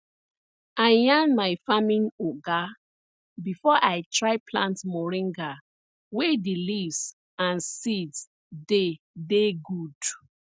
i yan my farming oga before i try plant moringa wey di leaves and seed dey dey good